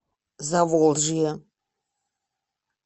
заволжье